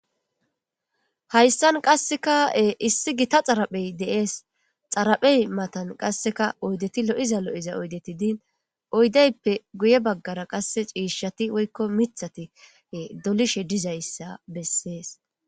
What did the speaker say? Hayssan qassekae issi gita xaraphey deees xaraphey matan qasseka oydeti lo'iza lo'iza oydeti diin oydeyppe guye baggara qasse ciishati woykko mithati dolishe dizayssa bessees.